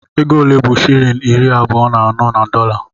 Ego ole bụ shịlịn iri abụọ na anọ na dọla?